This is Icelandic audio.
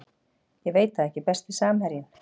Ég veit það ekki Besti samherjinn?